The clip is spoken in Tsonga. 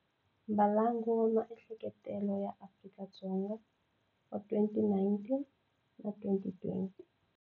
Mbalango wa Maehleketelelo ya Vanhu va Afrika-Dzonga wa 2019 na 2020.